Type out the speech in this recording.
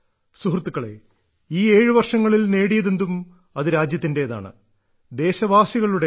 സുഹൃത്തുക്കളെ ഈ ഏഴു വർഷങ്ങളിൽ നേടിയതെന്തും അത് രാജ്യത്തിന്റേതാണ് ദേശവാസികളുടെതാണ്